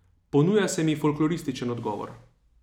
Ponuja se mi folklorističen odgovor.